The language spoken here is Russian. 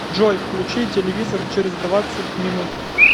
джой включи телевизор через двадцать минут